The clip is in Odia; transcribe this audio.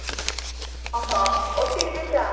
ହଁ, scooty ରେ ଚା